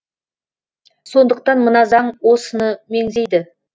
сондықтан мына заң осыны меңзейді